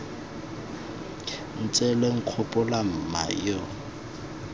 ntse lo nkgopola mma yo